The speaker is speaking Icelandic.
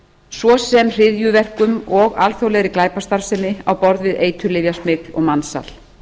svo sem hryðjuverkum og alþjóðlegri glæpastarfsemi á borð við eiturlyfjasmygl og mansal